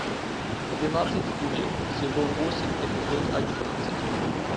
двенадцать стульев сезон восемь эпизод одиннадцать